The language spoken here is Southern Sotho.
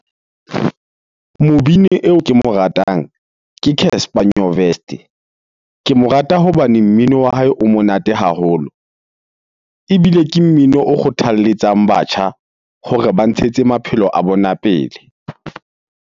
Mobini eo ke mo ratang ke Casper Nyovest. Ke mo rata hobane mmino wa hae o monate haholo ebile ke mmino o kgothalletsang batjha hore ba ntshetse maphelo a bona pele.